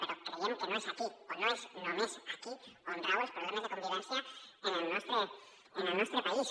però creiem que no és aquí o no és només aquí on rauen els proble·mes de convivència en el nostre país